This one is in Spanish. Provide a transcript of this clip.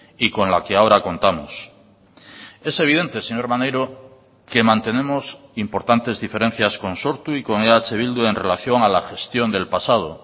y con la que ahora contamos es evidente señor maneiro que mantenemos importantes diferencias con sortu y con eh bildu en relación a la gestión del pasado